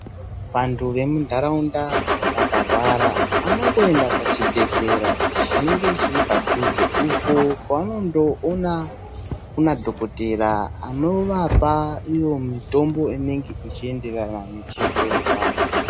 Vantu vemuntaraunda vakarwara, vanongoenda pachibhedhlera chinenge chiri padhuze, uko kwevanondoona madhokotera anovapa ivo mitombo inenge ichienderana nechirwere chavo.